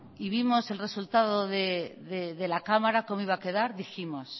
y vimos el resultado de la cámara cómo iba a quedar dijimos